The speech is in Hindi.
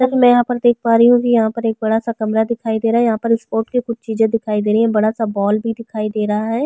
जैसे की मै यहाँ पर देख प् रही हु यहाँ पर एक बड़ा-सा कमरा दिखाई दे रहा है यहाँ पर स्पोर्ट की कुछ चीजे दिखाई दे रही है बड़ा-सा बॉल भी दिखाई दे रहा है।